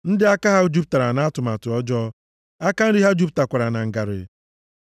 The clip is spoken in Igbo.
ndị aka ha jupụtara nʼatụmatụ ọjọọ, aka nri ha jupụtakwara na ngarị.